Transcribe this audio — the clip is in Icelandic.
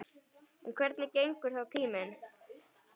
En hvernig gengur þá tíminn?